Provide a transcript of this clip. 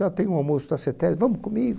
Nah, eu tenho um almoço na CETESBI, vamos comigo?